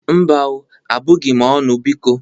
Mba o, abụghị m ọnụ, biko.